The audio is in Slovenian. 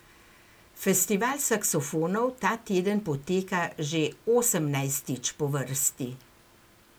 Festival saksofonov ta teden poteka že osemnajstič po vrsti.